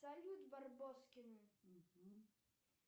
салют барбоскины